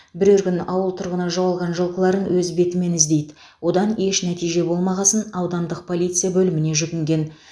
бірер күн ауыл тұрғыны жоғалған жылқыларын өз бетімен іздейді одан еш нәтиже болмағасын аудандық полиция бөліміне жүгінген